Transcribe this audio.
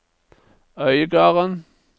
Øygarden